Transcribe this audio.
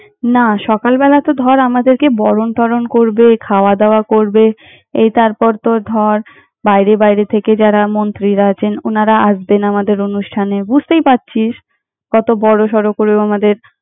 না, সকালবেলা তো ধর আমাদেরকে বরণ-টরণ করবে, খাওয়া-দাওয়া করবে। এই তারপর তোর ধর, বাইরে বাইরে থেকে যারা মন্ত্রীরা আছেন ওনারা আসবেন আমাদের অনুষ্ঠানে, বুঝতেই পারছিস! কত বড়সড় করে।